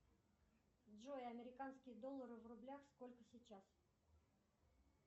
джой американские доллары в рублях сколько сейчас